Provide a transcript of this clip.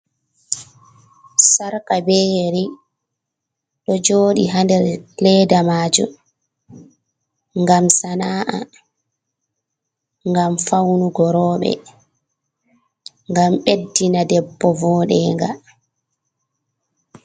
Sharka be yeri do jooɗi ha nde leeda maajum ngam sana’a ngam faunu go reuɓe ngam ɓeddina debbo voɗugo.